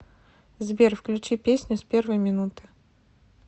сбер включи песню с первой минуты